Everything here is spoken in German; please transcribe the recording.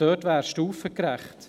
Dort wäre es stufengerecht.